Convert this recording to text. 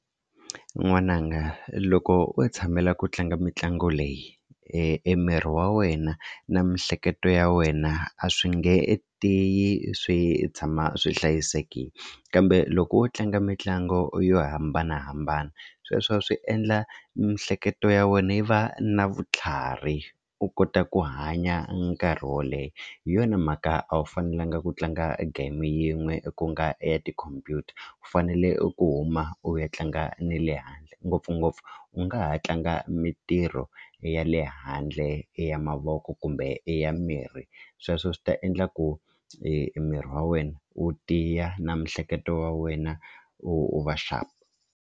N'wananga loko o tshamela ku tlanga mitlangu leyi e miri wa wena na miehleketo ya wena a swi nge tiyi swi tshama swi hlayisekile kambe loko wo tlanga mitlangu yo hambanahambana sweswo swi endla miehleketo ya wena yi va na vutlhari u kota ku hanya nkarhi wo leha hi yona mhaka a wu fanelanga ku tlanga game yin'we ku nga ya tikhompyuta u fanele ku huma u ya tlanga ni le handle ngopfungopfu u nga ha tlanga mitirho ya le handle i ya mavoko kumbe i ya miri sweswo swi ta endla ku e miri wa wena wu tiya na miehleketo ya wena u va sharp.